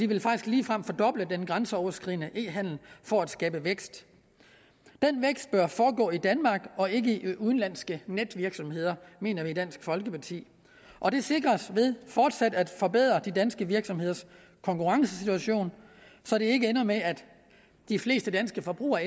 vil faktisk ligefrem fordoble den grænseoverskridende e handel for at skabe vækst bør foregå i danmark og ikke i udenlandske netvirksomheder mener vi i dansk folkeparti og det sikres ved fortsat at forbedre de danske virksomheders konkurrencesituation så det ikke ender med at de fleste danske forbrugere